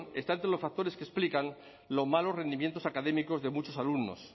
está entre los factores que explican los malos rendimientos académicos de muchos alumnos